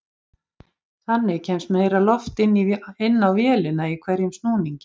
Þannig kemst meira loft inn á vélina í hverjum snúningi.